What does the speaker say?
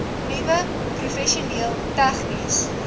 nuwe professioneel tegniese